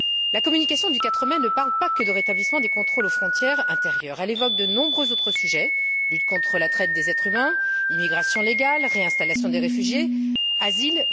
La communication du 4 mai ne parle pas que du rétablissement des contrôles aux frontières intérieures, elle évoque de nombreux autres sujets lutte contre la traite des êtres humains, immigration légale, réinstallation des réfugiés, asile...